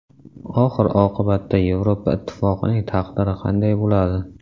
Oxir-oqibatda Yevropa Ittifoqining taqdiri qanday bo‘ladi?